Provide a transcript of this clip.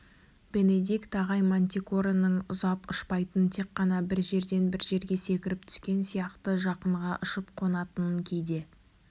бенедикт ағай мантикораның ұзап ұшпайтынын тек қана бір жерден бір жерге секіріп түскен сияқты жақынға ұшып қонатынын кейде